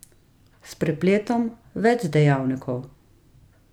S prepletom več dejavnikov.